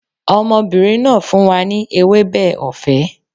Ọmọbìnrin náà fún wa ní ewébẹ̀ ọ̀fẹ́